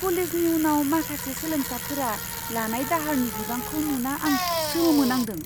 कलेजनि उनाव माखासे सोलोंसाफोरा लानाय दाहारनि बिबांखौ नुना आं सोमोनांदों!